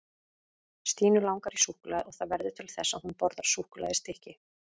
Stínu langar í súkkulaði og það verður til þess að hún borðar súkkulaðistykki.